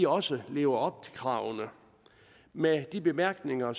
også lever op til kravene med de bemærkninger